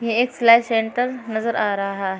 एक सिलाई सेंटर नजर आ रहा है।